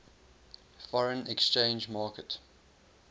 foreign exchange market